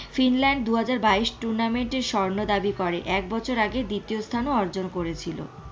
Finland দুহাজার বাইশ tournament দাবি করে এক বছর আগে দ্বিতীয়স্থান অর্জন করেছিল।